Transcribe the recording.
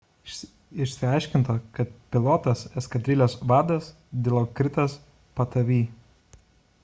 išsiaiškinta kad pilotas – eskadrilės vadas dilokritas pattavee